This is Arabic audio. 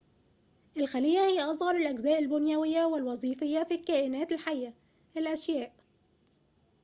الخليّة هي أصغر الأجزاء البنيويّة والوظيفيّة في الكائنات الحيّة الأشياء